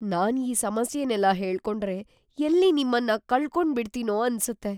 ನಾನ್ ಈ ಸಮಸ್ಯೆನೆಲ್ಲ ಹೇಳ್ಕೊಂಡ್ರೆ ಎಲ್ಲಿ ನಿಮ್ಮನ್ನ ಕಳ್ಕೊಂಬಿಡ್ತೀನೋ ಅನ್ಸತ್ತೆ.